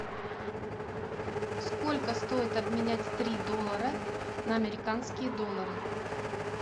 сколько стоит обменять три доллара на американские доллары